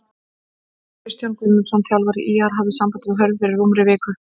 Kristján Guðmundsson þjálfari ÍR hafði samband við Hörð fyrir rúmri viku.